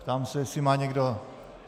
Ptám se, jestli má někdo...